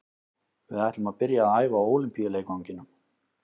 Við ætlum að byrja að æfa á Ólympíuleikvanginum.